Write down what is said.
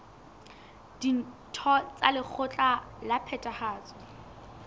ditho tsa lekgotla la phethahatso